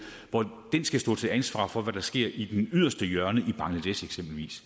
hvor den skal stå til ansvar for hvad der sker i det yderste hjørne i eksempelvis